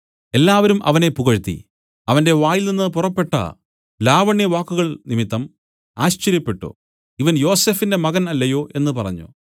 എല്ലാവരും അവനെ പുകഴ്ത്തി അവന്റെ വായിൽനിന്നു പുറപ്പെട്ട ലാവണ്യ വാക്കുകൾനിമിത്തം ആശ്ചര്യപ്പെട്ടു ഇവൻ യോസഫിന്റെ മകൻ അല്ലയോ എന്നു പറഞ്ഞു